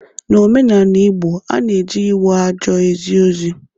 N'omenanị Igbo a na e ji ịwa ajo ezi ozi.